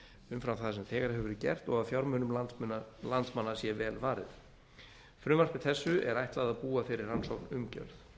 umfram það sem þegar hefur verið gert og að fjármunum landsmanna sé vel varið frumvarpi þessu er ætlað að búa þeirri rannsókn umgjörð